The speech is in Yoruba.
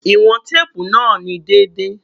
Iwọn teepu naa ni deede